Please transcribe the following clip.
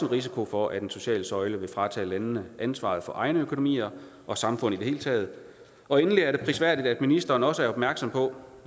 risiko for at den sociale søjle vil fratage landene ansvaret for egne økonomier og samfund i det hele taget og endelig er det prisværdigt at ministeren også er opmærksom på